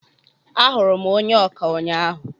Ahụrụ m onye ọkà ụnyaahụ.